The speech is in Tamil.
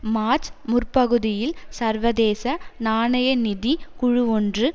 மார்ச் முற்பகுதியில் சர்வதேச நாணய நிதி குழுவொன்று